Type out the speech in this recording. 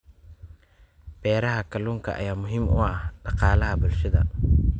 Beeraha kalluunka ayaa muhiim u ah dhaqaalaha bulshada.